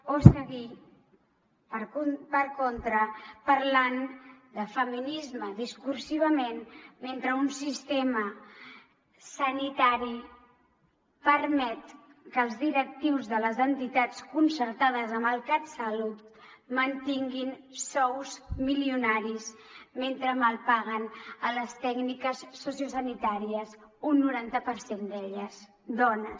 o seguir per contra parlant de feminisme discursivament mentre un sistema sanitari permet que els directius de les entitats concertades amb el catsalut mantinguin sous milionaris mentre malpaguen les tècniques sociosanitàries un noranta per cent d’elles dones